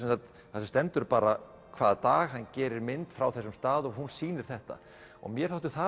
þar sem stendur bara hvaða dag hann gerir mynd frá þessum stað og hún sýnir þetta og mér þóttu það